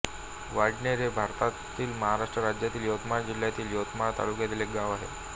वाडनेर हे भारतातील महाराष्ट्र राज्यातील यवतमाळ जिल्ह्यातील यवतमाळ तालुक्यातील एक गाव आहे